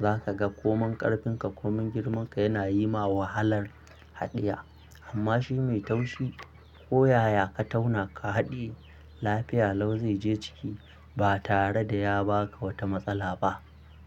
za ka ga ko mun ƙarfinka ko mun girman ka yana yi ma wahalar haɗiye. Amma shi mai taushi ko yaya ka tauna ka haɗiye lafiya lau zai je ciki ba tare da ya ba ka wata matsala ba.